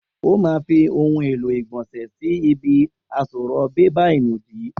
O ma fi ohun èlò ilé ìgbònsè sí ibi àsorò bébà ìnùdí